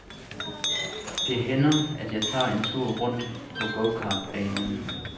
Det hænder, at jeg tager en tur rundt på gokartbanen.